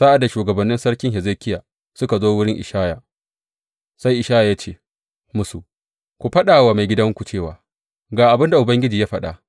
Sa’ad da shugabannin Sarki Hezekiya suka zo wurin Ishaya, sai Ishaya ya ce musu, Ku faɗa wa maigidanku cewa, Ga abin da Ubangiji ya faɗa.